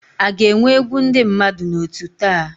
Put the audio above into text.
A ga-enwe egwu ndị mmadụ na otú taa?